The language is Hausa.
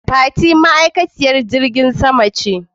Fati ma'aikaciyar filin jirgin sama ce.